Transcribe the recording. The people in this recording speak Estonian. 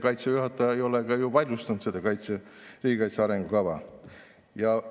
Kaitseväe juhataja ei ole seda riigikaitse arengukava vaidlustanud.